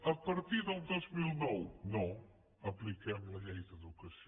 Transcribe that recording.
a partir del dos mil nou no apliquem la llei d’educació